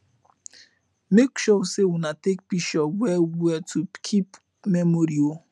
mek sure say una take pishurs wel wel to kip memory o